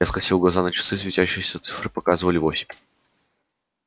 я скосил глаза на часы светящиеся цифры показывали восемь